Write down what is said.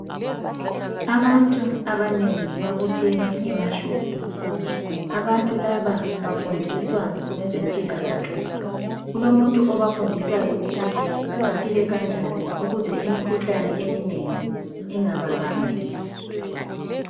Abantu abanengi babuthene emashop, abantu laba bafundiswa ngezempilakahle. Kulomuntu obafundisayo ukuthi baphile kanjani ukuze imikhuhlane eminengi ingababambi.